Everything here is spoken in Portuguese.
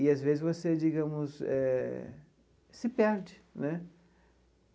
E, às vezes, você, digamos eh, se perde né.